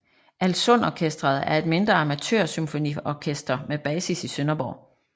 Alssundorkestret er et mindre amatørsymfoniorkester med basis i Sønderborg